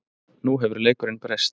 Nú hefur leikurinn breyst